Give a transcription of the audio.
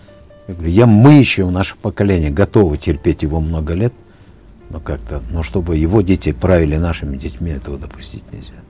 я говорю я мы еще наше поколение готовы терпеть его много лет ну как то но чтобы его дети правили нашими детьми этого допустить нельзя